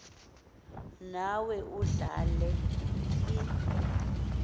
nawe udlale i